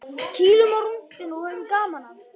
Kýlum á rúntinn og höfum gaman af